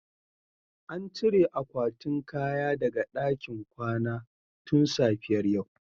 An cire akwatin kaya daga ɗakin kwana tun safiyar yau